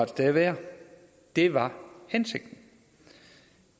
det værd det var hensigten